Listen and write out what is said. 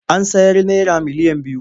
An sayar naira miliyan biyu.